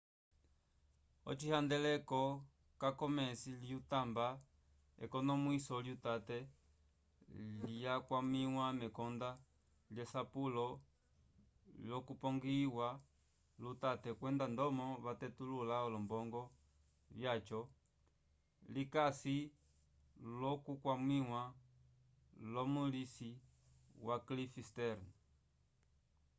ocihandeleko ca komes's lyatamba ekonomwiso lyutate lyakwamiwa mekonda lyesapulo lyapongiyiwa lutate kwenda ndomo vatetulula olombongo vyaco likasi l'okukwamiwa lumolisi wa cliff stearns